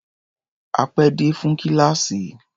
A pé dé fún kíláàsì.